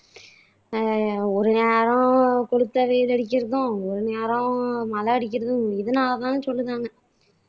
அஹ் ஒரு நேரம் கொளுத்த வெயில் அடிக்கிறதும் ஒரு நேரம் மழை அடிக்கிறதும் இதுனால தான்னு சொல்லுதாங்க